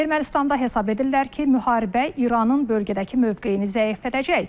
Ermənistanda hesab edirlər ki, müharibə İranın bölgədəki mövqeyini zəiflədəcək.